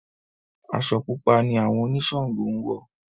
Aṣọ Pupa ni àwọn oniṣàngó ń wọ̀.